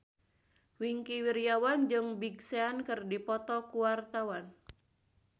Wingky Wiryawan jeung Big Sean keur dipoto ku wartawan